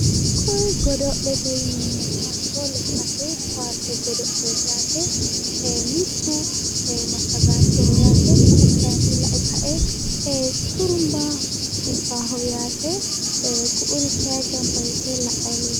Koye godo'lete yineemmoti hatto lekkase kaase godo'leti yaate mittu massagaanchoho yaate ku'u kayi lae xurumbba ufuuffaho yaate ku'uri kay gamba yite la'ay leelitawo.